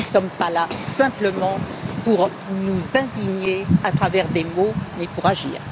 Nous ne sommes pas là simplement pour nous indigner avec des mots, mais pour agir.